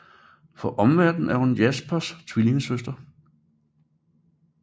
For omverdenen er hun Jaspers tvillingesøster